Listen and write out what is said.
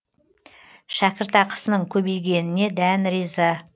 шәкіртақысының көбейгеніне дән риза